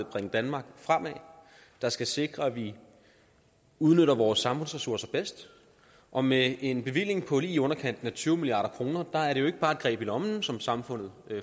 bringe danmark fremad der skal sikre at vi udnytter vores samfundsressourcer bedst og med en bevilling på lige i underkanten af tyve milliard kroner er det jo ikke bare et greb i lommen som samfundet